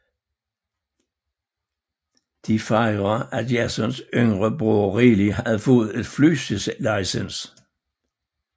De fejre at Jasons yngre bror Riley har fået et fly licens